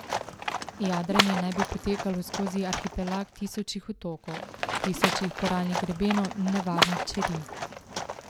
Jadranje naj bi potekalo skozi arhipelag tisočih otokov, tisočih koralnih grebenov in nevarnih čeri.